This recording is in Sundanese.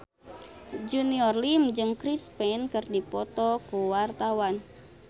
Junior Liem jeung Chris Pane keur dipoto ku wartawan